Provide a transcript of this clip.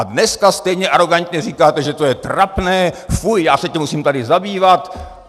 A dneska stejně arogantně říkáte, že to je trapné, fuj, já se tím musím tady zabývat.